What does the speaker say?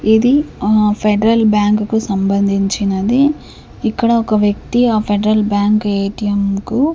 ఇది ఆ Federal Bank కు సంబంధించినది ఇక్కడ ఒక వ్యక్తి ఆ ఫెడరల్ బ్యాంక్ ఎ_టి_ఎం కు.